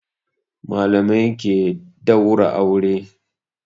Malamai ke daura aure.